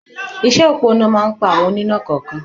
Iṣẹ́ òpó iná máa ń pa àwọn oníná kọ̀ọ̀kan